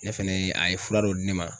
Ne fɛnɛ a ye fura dɔ di ne ma